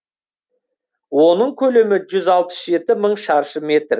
оның көлемі жүз алпыс жеті мың шаршы метр